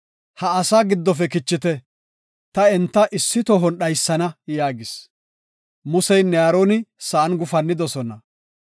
“Ha asaa giddofe kichite; ta enta issi tohon dhaysana” yaagis. Museynne Aaroni sa7an gufannidosona.